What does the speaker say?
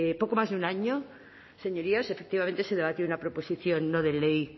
poco más de un año señorías efectivamente se debatió una proposición no de ley